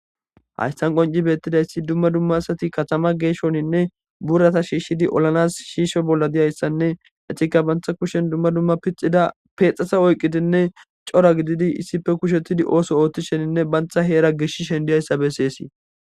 Hayisa bollan betizays duma duma katama gesho burata shishidi olanasinee osoo bolla dizaysanee etika banita kushen duma duma pexaza oyikidinee coora gididi isipe oso othishenee banita hera geshishe dizaysa beses